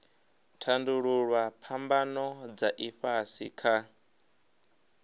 tandululwa phambano dza ifhasi kha